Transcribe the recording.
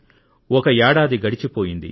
ఒక ఏడాది గడిచిపోయింది